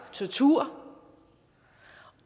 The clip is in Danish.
tortur